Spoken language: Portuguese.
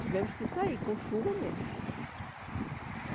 Tivemos que sair, com chuva mesmo.